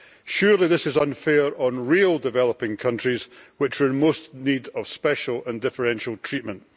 Surely this is unfair on real developing countries which are in most need of special and differential treatment.